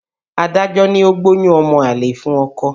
Adájọ́ ní ó gbóyún ọmọ àlè fún ọkọ.